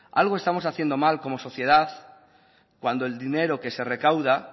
algo estamos haciendo mal como sociedad cuando el dinero que se recauda